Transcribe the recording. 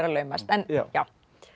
laumast en já